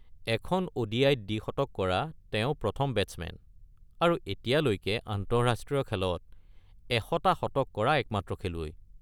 এখন ও.ডি.আই.-ত দ্বিশতক কৰা তেওঁ প্ৰথম বেটছমেন, আৰু এতিয়ালৈকে আন্তঃৰাষ্ট্ৰীয় খেলত ১০০টা শতক কৰা একমাত্ৰ খেলুৱৈ।